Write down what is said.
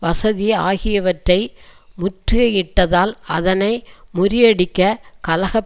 வசதி ஆகியவற்றை முற்று யிட்டதால் அதனை முறியடிக்க கலக